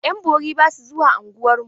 Ƴan bori ba su zuwa unguwarmu.